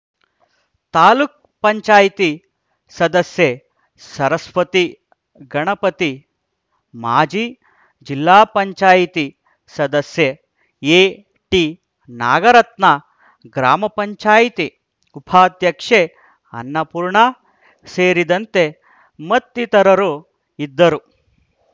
ತಾಲೂಕ್ ಪಂಚಾಯಿತಿ ಸದಸ್ಯೆ ಸರಸ್ವತಿ ಗಣಪತಿ ಮಾಜಿ ಜಿಲ್ಲಾ ಪಂಚಾಯಿತಿ ಸದಸ್ಯೆ ಎಟಿನಾಗರತ್ನ ಗ್ರಾಮ ಪಂಚಾಯಿತಿ ಉಪಾಧ್ಯಕ್ಷೆ ಅನ್ನಪೂರ್ಣ ಸೇರಿದಂತೆ ಮತ್ತಿತರರು ಇದ್ದರು